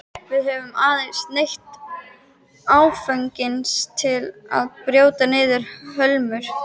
Við höfum aðeins neytt áfengis til að brjóta niður hömlur.